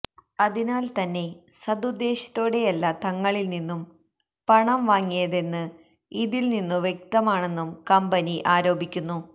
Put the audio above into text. അതിനാല് തന്നെ സദുദ്ദേശ്യത്തോടെയല്ല തങ്ങളില്നിന്നു പണം വാങ്ങിയതെന്ന് ഇതില്നിന്നു വ്യക്തമാണെന്നും കമ്പനി ആരോപിക്കുന്നു